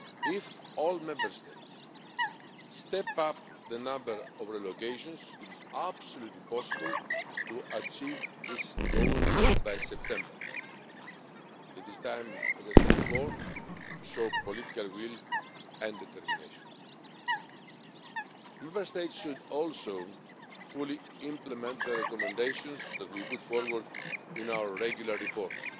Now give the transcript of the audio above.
If all Member States step up the number of relocations, it is entirely possible to achieve this goal by September. It is time as I said before to show political will and determination. Member States should also fully implement the recommendations that we put forward in our regular reports.